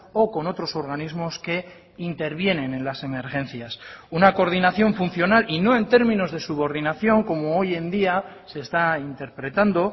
o con otros organismos que intervienen en las emergencias una coordinación funcional y no en términos de subordinación como hoy en día se está interpretando